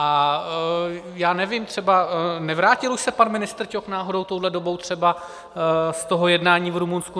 A já nevím, třeba nevrátil už se pan ministr Ťok náhodou touhle dobou třeba z toho jednání v Rumunsku?